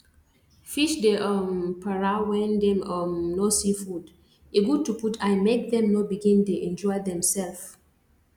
fish dey um para when dem um no see food e good to put eye make them no begin dey injure themself